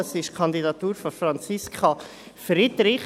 Das ist die Kandidatur von Franziska Friederich.